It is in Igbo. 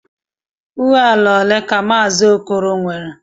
Uo ala ole ka Maazị Okoro nwere?